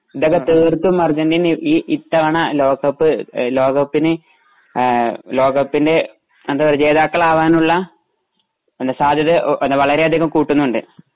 ഇതൊക്കെ തീർത്തും അർജെന്റീന ഈ ഈ ഇത്തവണ ലോകകപ്പ് എ ലോകകപ്പിന് ആ ലോകകപ്പിന്റെ എന്തപറയുക ജേതാക്കളാകുവാനുള്ള സാത്യത വളരെ അതികം കൂട്ടുന്നുണ്ട്